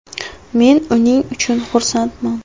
Men uning uchun xursandman.